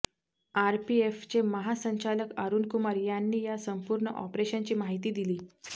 आरपीएफचे महासंचालक अरुणकुमार यांनी या संपूर्ण ऑपरेशनची माहिती दिली